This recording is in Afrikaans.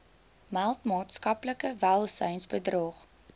meld maatskaplike welsynsbedrog